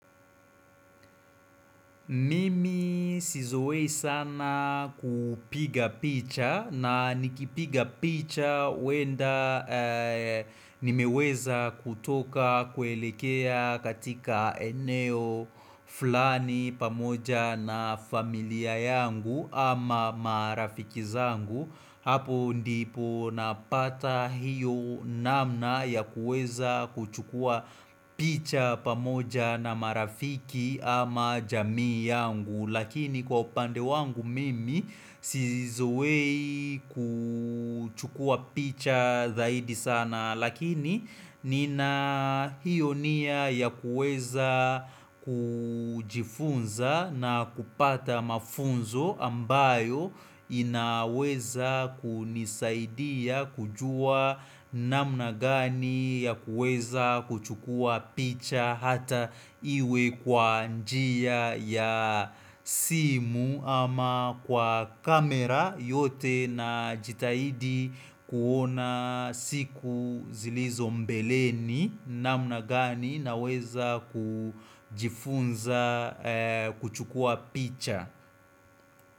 Mimi sizoei sana kupiga picha na nikipiga picha huenda nimeweza kutoka kuelekea katika eneo fulani pamoja na familia yangu ama marafiki zangu hapo ndipo napata hiyo namna ya kuweza kuchukua picha pamoja na marafiki ama jamii yangu lakini kwa upande wangu mimi sizoei kuchukua picha zaidi sana Lakini nina hiyo nia ya kuweza kujifunza na kupata mafunzo ambayo inaweza kunisaidia kujua namna gani ya kuweza kuchukua picha hata iwe kwa njia ya simu ama kwa kamera yote najitahidi kuona siku zilizo mbeleni namna gani naweza kujifunza kuchukua picha.